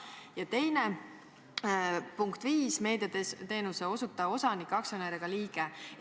Ja teiseks, punkt 5 ütleb, et nõukogu liige ei või olla meediateenuse osutaja osanik, aktsionär ega liige.